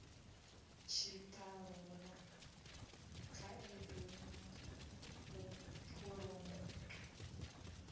tshiṱalula khaedu na u phuromotha